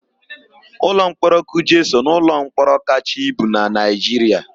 Ụlọmkpọrọ Kuje so n'ụlọmkpọrọ kachaa ibu na Naịjiria.